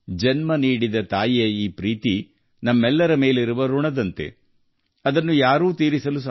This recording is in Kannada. ಜನ್ಮ ನೀಡಿದ ತಾಯಿಯ ಈ ಪ್ರೀತಿ ನಮ್ಮೆಲ್ಲರ ಋಣದಂತೆ ಯಾರಿಂದಲೂ ತೀರಿಸಲಾಗದು